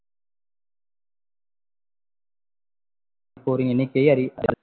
~ போரின் எண்ணிக்கை